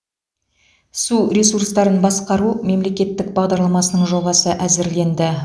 су ресурстарын басқару мемлекеттік бағдарламасының жобасы әзірленді